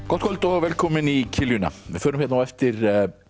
gott kvöld og og velkomin í kiljuna við förum hérna á eftir